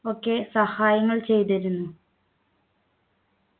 ഒക്കെ സഹായങ്ങൾ ചെയ്തിരുന്നു